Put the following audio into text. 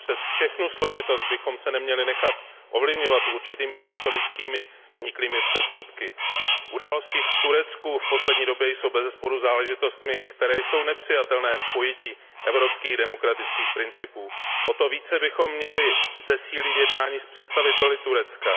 Přes všechnu složitost bychom se neměli nechat ovlivňovat historicky vzniklými předsudky. Události v Turecku v poslední době jsou bezesporu záležitostmi, které jsou nepřijatelné v pojetí evropských demokratických principů. O to více bychom měli zesílit jednání s představiteli Turecka.